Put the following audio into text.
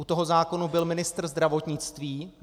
U toho zákona byl ministr zdravotnictví.